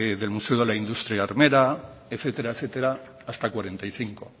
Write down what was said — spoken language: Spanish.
del museo de la industria armera etcétera etcétera hasta cuarenta y cinco